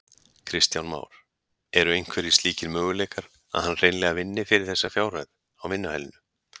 Kristján Már: Eru einhverjir slíkir möguleikar að hann hreinlega vinni fyrir þessari fjárhæð á vinnuhælinu?